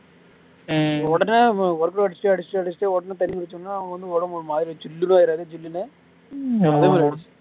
உடனே workout அடிச்சுட்டு அடிச்சுட்டு அடிச்சிட்டு உடனே தண்ணி குடிச்சோம்ன்னா அவங்க வந்து உடம்பு வந்து ஒருமாறி சில்லு ஆயிடாது ஜில்லுன்னு